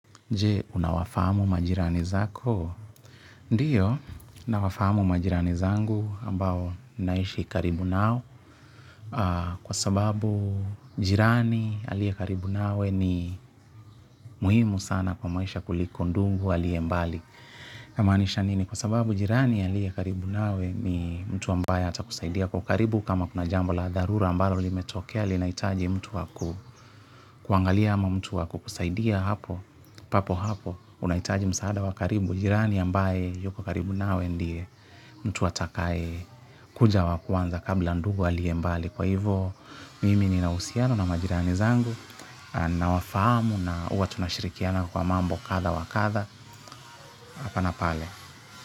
Je, unawafahamu majirani zako? Ndiyo, nawafahamu majirani zangu ambao naishi karibu nao. Kwa sabau jirani aliye karibu nawe ni muhumu sana kwa maisha kuliko ndugu aliye mbali. Kwa manisha nini? Kwa sababu, jirani aliye karibu nawe ni mtu ambaye atakusaidia kwa ukaribu. Kama kuna jambo la dharura ambayo limetokea, linahitaji mtu wakukuangalia ama mtu wakukusaidia hapo, papo hapo. Unahitaji msaada wa karibu, jirani ambaye yuko karibu nawe ndiye mtu atakaye kuja wakwanza kabla ndugu aliye mbali. Kwa hivo mimi ni na usiano na majirani zangu na wafamu na huwa tunashirikiana kwa mambo katha wakatha apa na pale.